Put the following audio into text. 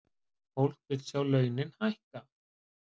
Fólk vill sjá launin hækka